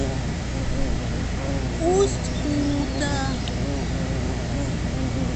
усть кута